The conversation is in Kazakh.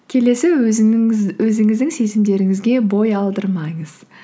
келесі өзіңіздің сезімдеріңізге бой алдырмаңыз